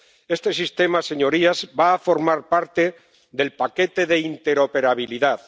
Este sistema, señorías, va a formar parte del paquete de interoperabilidad.